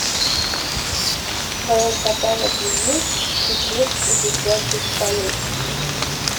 в твоем каталоге есть пикник у висячей скалы